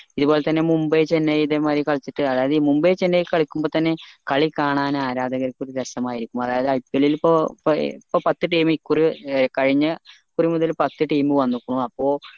ഇത് പോലെ തെന്നെ മുംബൈ ചെന്നൈ ഇതേ മായിരി കളിച്ചിട്ട് അതായത് ഈ മുംബൈ ചെന്നൈ കളിക്കുമ്പോ തന്നെ കളി കാണാൻ ആരാധക്കാർക്ക് ഒരു രസമായിരുക്കും അതായത് IPL ൽ ഇപ്പൊ പത്ത് team ഇ കുറി അഹ് കഴിഞ്ഞ കുറി മുതൽ പത്ത് team വന്നക്കുണു അപ്പൊ